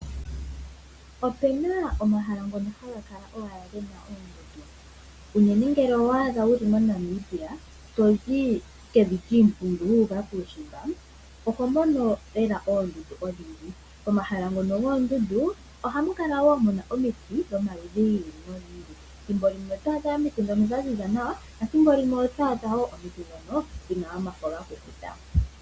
Opena omahala ngono haga kala gena owala oondundu. Unene ngele owa adha wuli moNamibia tozi kevi lyiimpungu wu uka kuushimba oho mono lela oondundu odhindji. Omahala ngono goondundu ohamu kala wo muna omiiti dhomaludhi giili nogiili. Thimbo limwe otwa adha omiiti dhono dha ziza nawa thimbo limwe oto adha omiiti dhono dhina omafo ga kukuta.